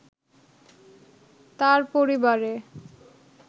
তার পরিবারে